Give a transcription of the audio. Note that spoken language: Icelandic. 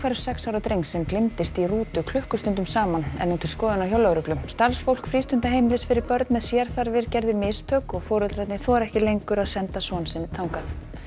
sex ára drengs sem gleymdist í rútu klukkustundum saman er nú til skoðunar hjá lögreglu starfsfólk frístundaheimilis fyrir börn með sérþarfir gerði mistök og foreldrarnir þora ekki lengur að senda son sinn þangað